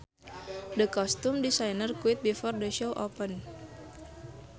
The costume designer quit before the show opened